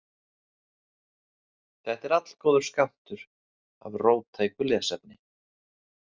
Þetta er allgóður skammtur af róttæku lesefni.